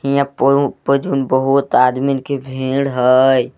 हिया पउ पजून बहुत आदमीन के भीड़ हय।